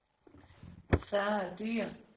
Sarah Dyhr